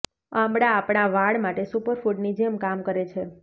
આંબળા આપણા વાળ માટે સુપરફૂડની જેમ કામ કરે છે